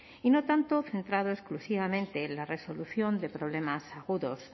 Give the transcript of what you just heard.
y no tanto centrado exclusivamente en la resolución de problemas agudos